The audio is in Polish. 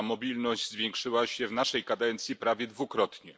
Ta mobilność zwiększyła się w naszej kadencji prawie dwukrotnie.